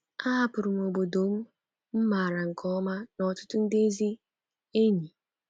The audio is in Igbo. Ahapụrụ m obodo m maara nke ọma na ọtụtụ ndị ezi enyi.